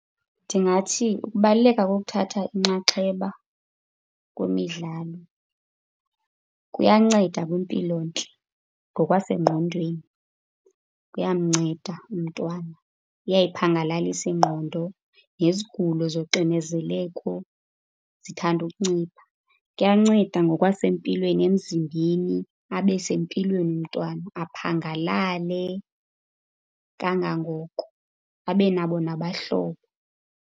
Ndingathi ukubaluleka kokuthatha inxaxheba kwimidlalo kuyanceda kwimpilontle ngokwasengqondweni, kuyamnceda umntwana. Iyayiphangalalisa ingqondo nezigulo zoxinezeleko zithande ukuncipha. Kuyancenda ngokwasempilweni emzimbeni abe sempilweni umntwana, aphangalale kangangoko abe nabo nabahlobo.